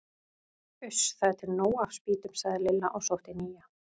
Uss, það er til nóg af spýtum sagði Lilla og sótti nýja.